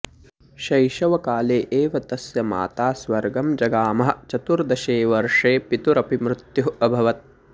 शैशवकाले एव तस्य माता स्वर्गं जगामः चतुर्दशे वर्षे पितुरपि मृत्युः अभवत्